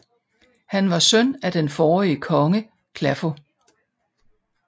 Han var søn af den forrige konge Claffo